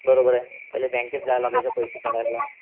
बरोबर आहे. पहिले बँकेत जावं लागायचं पैसे काढायला.